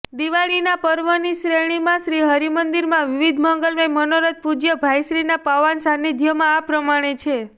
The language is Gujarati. દિવાળીના પર્વની શ્રેણીમાં શ્રીહરિ મંદિરમાં વિવિધ મંગલમય મનોરથ પૂજય ભાઇશ્રીના પવાન સાન્નિધ્યમાં આ પ્રમાણે છે